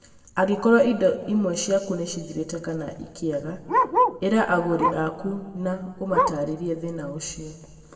Angĩkorũo indo imwe ciaku nĩ cithirĩte kana ikĩaga, ĩra agũri aku na ũmataarĩrie thĩna ũcio.